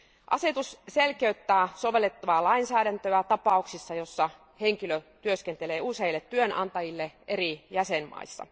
Asetus selkeyttää sovellettavaa lainsäädäntöä tapauksissa, joissa henkilö työskentelee useille työnantajille eri jäsenvaltioissa.